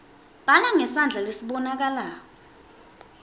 bhala ngesandla lesibonakalako